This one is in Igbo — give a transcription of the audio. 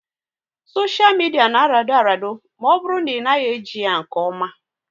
Soshia midia na arado arado ma ọ bụrụ na ị naghị eji ya nke oma